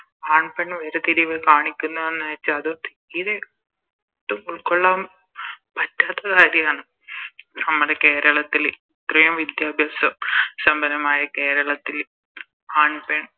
ആൺ പെൺ വേർതിരിവ് കാണിക്കുന്നന്ന് വെച്ച തീരെ ഒട്ടും ഉൾക്കൊള്ളാൻ പറ്റാത്ത കാര്യണ് നമ്മുടെ കേരളത്തില് ഇത്രേം വിദ്യാഭ്യാസ സമ്പന്നമായ കേരളത്തില് ആൺ പെൺ